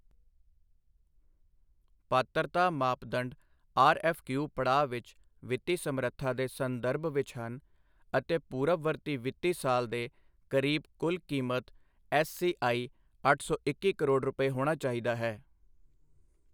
ਪਾਤਰਤਾ ਮਾਪਦੰਡ ਆਰਐੱਫਕਯੂ ਪੜਾਅ ਵਿੱਚ ਵਿੱਤੀ ਸਮਰੱਥਾ ਦੇ ਸੰਦਰਭ ਵਿੱਚ ਹਨ ਅਤੇ ਪੂਰਬਵਰਤੀ ਵਿੱਤੀ ਸਾਲ ਦੇ ਕਰੀਬ ਕੁੱਲ ਕੀਮਤ ਐੱਸਸੀਆਈ ਅੱਠ ਸੌ ਇੱਕੀ ਕਰੋੜ ਰੁਪਏ ਹੋਣਾ ਚਾਹੀਦਾ ਹੈ